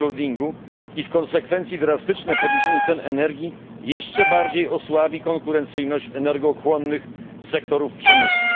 backloadingu i w konsekwencji drastyczne podniesienie cen energii jeszcze bardziej osłabi konkurencyjność energochłonnych sektorów przemysłu.